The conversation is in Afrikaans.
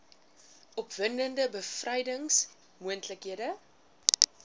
opwindende bevrydings moontlikhede